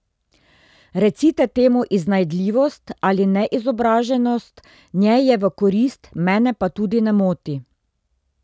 Recite temu iznajdljivost ali neizobraženost, njej je v korist, mene pa tudi ne moti.